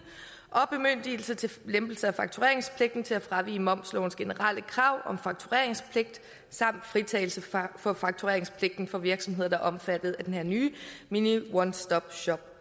og bemyndigelse til lempelse af faktureringspligten til at fravige momslovens generelle krav om faktureringspligt samt fritagelse for faktureringspligten for virksomheder der er omfattet af den her nye mini one stop shop